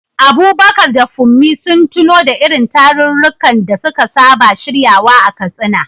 Abubakar da Funmi sun tuno da irin tarurrukan da suka saba shiryawa a Katsina.